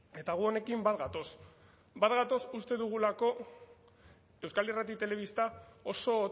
eta gu honekin bat gatoz bat gatoz uste dugulako euskal irrati telebista oso